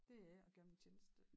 Det ikke at gøre dem en tjeneste